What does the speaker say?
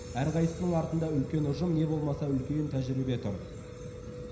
әрқайсысының артында үлкен ұжым не болмаса үлкен тәжірибе тұр